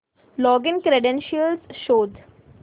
login credentials शोध